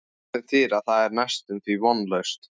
Sem þýðir að það er næstum því vonlaust.